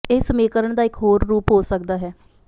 ਇਸ ਸਮੀਕਰਨ ਦਾ ਇਕ ਹੋਰ ਰੂਪ ਹੋ ਸਕਦਾ ਹੈ